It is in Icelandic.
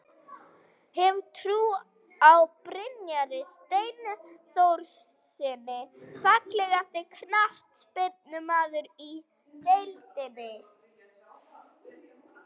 Hef trú á Brynjari Steinþórssyni Fallegasti knattspyrnumaðurinn í deildinni?